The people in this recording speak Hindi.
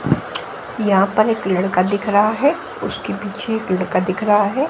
यहां पर एक लड़का दिख रहा है उसके पीछे एक लड़का दिख रहा है।